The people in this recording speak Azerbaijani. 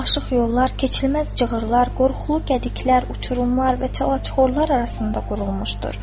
Həyat dolaşıq yollar, keçilməz cığırlar, qorxulu qədiklər, uçurumlar və çalaçuxurlar arasında qurulmuşdur.